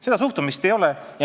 " Seda suhtumist ei ole.